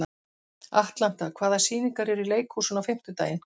Atlanta, hvaða sýningar eru í leikhúsinu á fimmtudaginn?